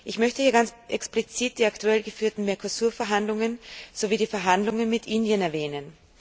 Ich möchte hier ganz explizit die aktuell geführten Mercosur Verhandlungen sowie die Verhandlungen mit Indien erwähnen.